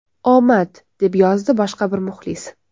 Omad”, deb yozdi boshqa bir muxlis.